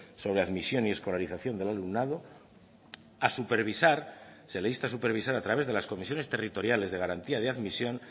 sobre admisión y escolarización del alumnado a supervisar se le insta a supervisar a través de las comisiones territoriales de garantía de admisión